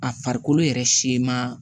A farikolo yɛrɛ siman